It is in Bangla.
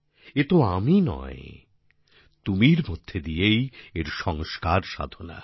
এ তো আমি নয় তুমি র মধ্যে দিয়েই এর সংস্কার সাধনা